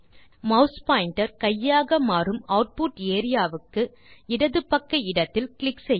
mass pointer கையாக மாறும் output area க்கு இடது பக்க இடத்தில் கிளிக் செய்ய